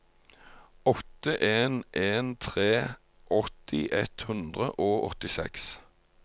åtte en en tre åtti ett hundre og åttiseks